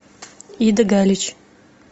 ида галич